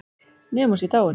Nema hún sé dáin.